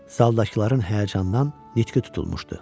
Zaldakıların həyəcandan nitqi tutulmuşdu.